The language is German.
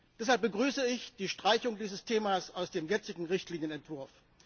Deshalb begrüße ich die Streichung dieses Themas aus dem jetzigen Richtlinienentwurf.